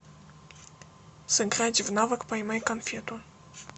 сыграть в навык поймай конфету